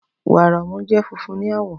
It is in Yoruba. Wàrà ọmú jẹ́ funfun ní àwọ̀